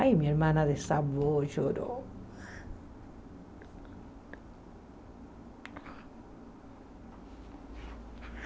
Ai, minha irmã desabou, e chorou.